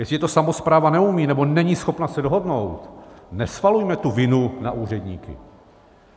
Jestliže to samospráva neumí nebo není schopna se dohodnout, nesvalujme tu vinu na úředníky.